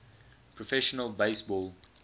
professional base ball